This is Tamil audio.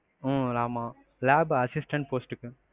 உம் ஆமா lab assistant post க்கு.